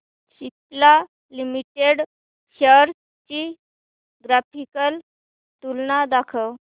Cipla limited shares ची graphical तुलना दाखव